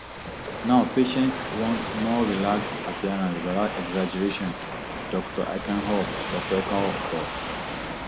now patients want more relaxed appearance witout exaggeration dr herkenhoff dr herkenhoff tok